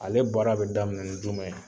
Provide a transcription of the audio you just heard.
Ale baara bɛ daminɛ ni jumɛn ye?